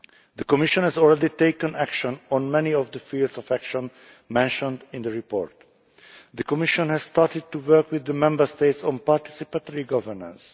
The Commission has already taken action on many of the spheres of action mentioned in the report. The Commission has started to work with the Member States on participatory governance.